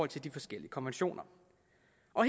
til de forskellige konventioner